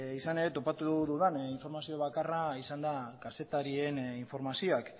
izan ere topatu dudan informazio bakarra izan da kazetarien informazioak